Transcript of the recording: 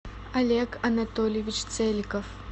олег анатольевич целиков